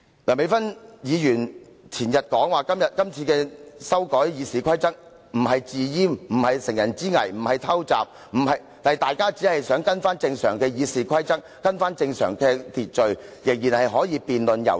梁美芬議員前天說今次修改《議事規則》不是"自閹"、不是乘人之危、不是偷襲，說大家只是想重新跟從《議事規則》，回復正常秩序，大家仍然可以進行辯論和遊說。